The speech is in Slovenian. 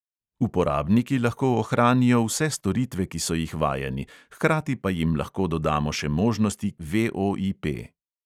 Uporabniki lahko ohranijo vse storitve, ki so jih vajeni, hkrati pa jim lahko dodamo še možnosti, ki jih prenaša VOIP.